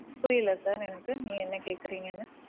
புரியல sir எனக்கு. நீங்க என்ன கேக்குறீங்கன்னு.